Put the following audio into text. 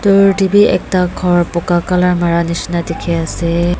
yat teh bhi ekta gor bogha colour mara misna dekhi ase.